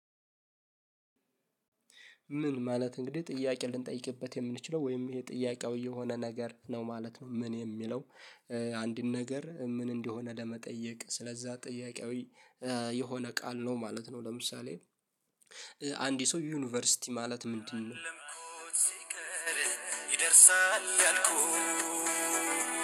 ምን ማለት እንግዲህ ጥያቄ ልንጠይቅበት የምንችለው ወይም ይሄ ጥያቄው የሆነ ነገር ነው ማለት ነው ምን የሚለው። አንድን ነገር ምን እንደሆነ ለመጠየቅ ስለዛ ጥያቄያዊ የሆነ ቃል ነው ማለት ነው ለምሳሌ አንድ ሰው ዩኒቨርሲቲ ማለት ምንድነው ሲቀር ይደርሳል ያልኩ